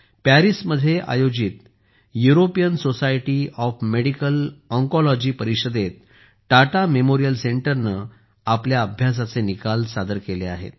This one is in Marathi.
पॅरिसमध्ये आयोजित European society of medical oncology oncology परिषदेत टाटा मेमोरियल सेंटरने आपल्या अभ्यासाचे निकाल सादर केले आहेत